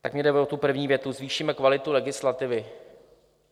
Tak mně jde o tu první větu - zvýšíme kvalitu legislativy.